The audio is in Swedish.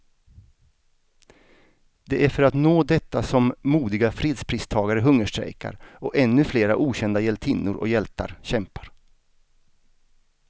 Det är för att nå detta som modiga fredspristagare hungerstrejkar, och ännu flera okända hjältinnor och hjältar kämpar.